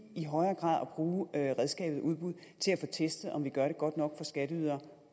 i højere grad at bruge redskabet udbud til at få testet om vi gør det godt nok for skatteydere